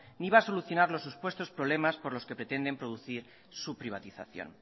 ni va a solucionar los supuestos problemas por los que pretenden producir su privatización